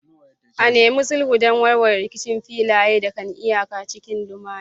A nemi sulhu don warware rikicin filaye da kan iyaka cikin lumana.